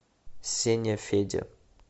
сеня федя